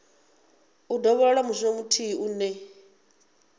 u dovholola mushumo muthihi une